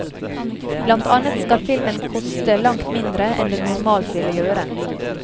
Blant annet skal filmen koste langt mindre enn den normalt ville gjøre.